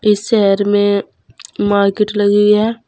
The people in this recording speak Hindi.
इस शहर में मार्केट लगी है।